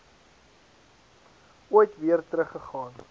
ooit weer teruggegaan